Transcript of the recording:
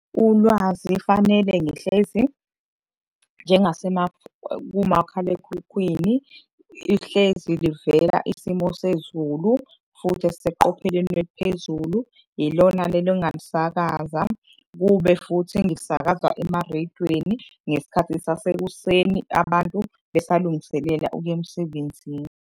Ulwazi fanele ngihlezi, kumakhalekhukhwini ihlezi livela isimo sezulu, futhi esiseqopheleni eliphezulu. Ilona leli ongalisakaza, kube futhi engilisakazwa emareyidweni ngesikhathi sasekuseni abantu besalungiselela ukuya emsebenzini.